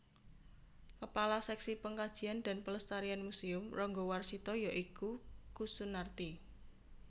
Kepala Seksi Pengkajian dan Pelestarian Museum Ranggawarsita ya iku Kussunartini